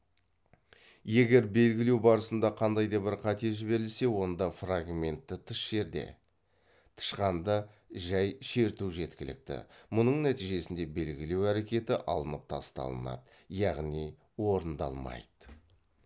егер белгілеу барысында қандай да бір қате жіберілсе онда фрагментті тыс жерде тышқанды жай шерту жеткілікті мұның нәтижесінде белгілеу әрекеті алынып тасталынады яғни орындалмайды